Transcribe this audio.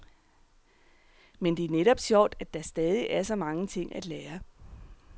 Men det er netop sjovt, at der stadig er så mange ting at lære.